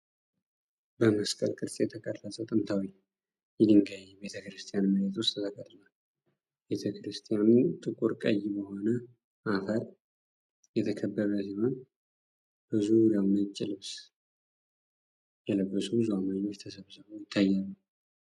በመስቀል ቅርጽ የተቀረጸ ጥንታዊ የድንጋይ ቤተክርስቲያን መሬት ውስጥ ተቀርጿል። ቤተክርስቲያኑ ጥቁር ቀይ በሆነ አፈር የተከበበ ሲሆን በዙሪያውም ነጭ ልብስ የለበሱ ብዙ አማኞች ተሰብስበው ይታያሉ።